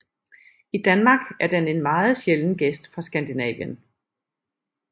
I Danmark er den en meget sjælden gæst fra Skandinavien